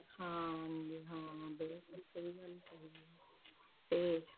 ਹਾਂ ਜੀ ਹਾਂ ਬਿਲਕੁਲ ਸਹੀ ਗੱਲ ਕਹੀ ਹੈ ਤੇ,